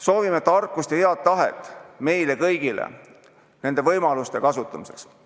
Soovime tarkust ja head tahet meile kõigile nende võimaluste kasutamiseks.